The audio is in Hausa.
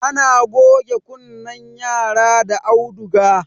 ana goge kunnen yara da auduga